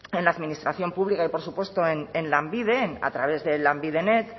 en la administración pública y por supuesto en lanbide a través de lanbidenet